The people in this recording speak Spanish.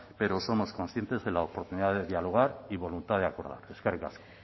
pero somos conscientes de la oportunidad de dialogar y voluntad de acordar eskerrik asko